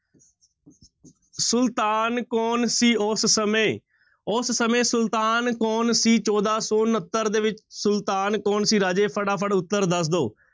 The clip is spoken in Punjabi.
ਸੁਲਤਾਨ ਕੌਣ ਸੀ ਉਸ ਸਮੇਂ, ਉਸ ਸਮੇਂ ਸੁਲਤਾਨ ਕੌਣ ਸੀ ਚੌਦਾਂ ਸੌ ਉਣੱਤਰ ਦੇ ਵਿੱਚ, ਸੁਲਤਾਨ ਕੌਣ ਸੀ ਰਾਜੇ ਫਟਾਫਟ ਉੱਤਰ ਦੱਸ ਦਓ।